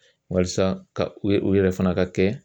Walasa ka u u yɛrɛ fana ka kɛ